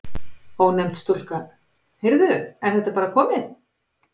Ónefnd stúlka: Heyrðu, er þetta bara komið?